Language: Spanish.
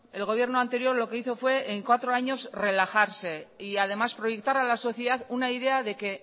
el gobierno anterior lo que hizo fue en cuatro años relajarse y además proyectar a la sociedad una idea de que